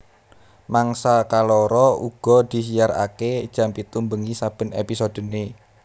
Mangsa kaloro uga disiarake jam pitu bengi saben episodene